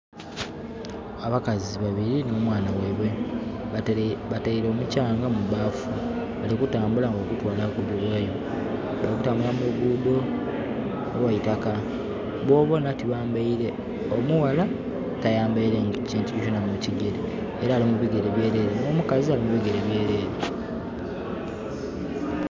Abakazi babiri nho mwaana gheibwe bateire omukyanga mu bbafu bali ku tambula nga bagutwala kuguyughayo. Bali kutambula mu lugudho olw'eitaka bonabonha tibambaile, omuwala tayambaile kintu kyonakyona mu kigere, era ali mu bigere byerere, n'omukazi ali mu bigere byerere.